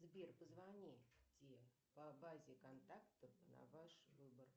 сбер позвоните по базе контактов на ваш выбор